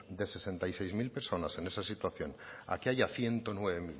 de sesenta y seis mil personas en esa situación a que haya ciento nueve